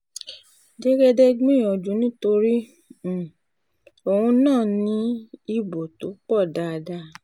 jẹ́gẹ́dẹ́ gbìyànjú nítorí um òun náà ní ibo tó pọ̀ dáadáa